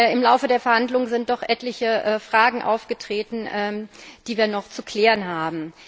Im Laufe der Verhandlungen sind doch etliche Fragen aufgetreten, die wir noch zu klären haben.